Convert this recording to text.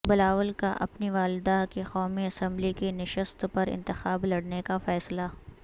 بلاول کا اپنی والدہ کی قومی اسمبلی کی نشست پر انتخاب لڑنے کا فیصلہ